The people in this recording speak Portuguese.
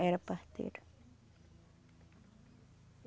Era parteira.